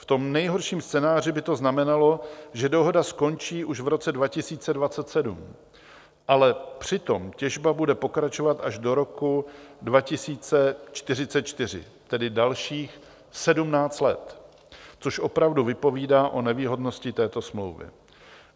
V tom nejhorším scénáři by to znamenalo, že dohoda skončí už v roce 2027, ale přitom těžba bude pokračovat až do roku 2044, tedy dalších 17 let, což opravdu vypovídá o nevýhodnosti této smlouvy.